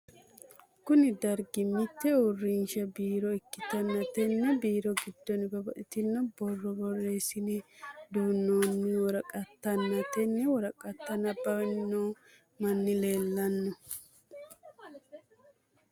Kunni dargi mite uurinsha biiro ikitanna tenne biiro gidoonni babbaxino borro boreesine duunoonni woraqatanna tenne woraqata nabawanni noo manni leelano.